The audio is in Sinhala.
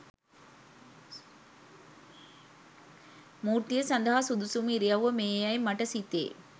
මූර්තිය සදහා සුදුසුම ඉරියව්ව මේ යැයි මට සිතේ